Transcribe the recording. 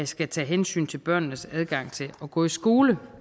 skal tage hensyn til børnenes adgang til at gå i skole